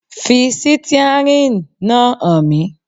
Fi sítíárìn náà hàn mí.